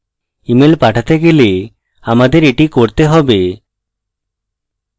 email পাঠাতে গেলে আমাদের এটি করতে হবে